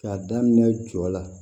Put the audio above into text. K'a daminɛ jɔ la